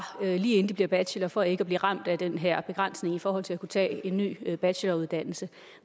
lige inden de bliver bachelorer for ikke at blive ramt af den her begrænsning i forhold til at kunne tage en ny bacheloruddannelse